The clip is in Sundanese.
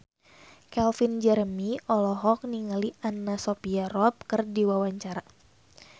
Calvin Jeremy olohok ningali Anna Sophia Robb keur diwawancara